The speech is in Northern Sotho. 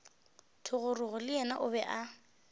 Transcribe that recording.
thogorogo le yena o be